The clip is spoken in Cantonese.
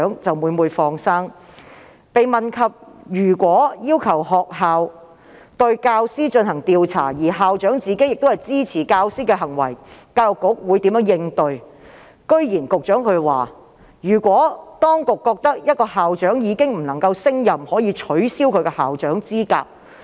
當被問及如果要求學校對教師進行調查而校長支持教師的行為，教育局會如何應對，局長竟然表示如果局方認為某校長已無法勝任，可以取消其校長資格。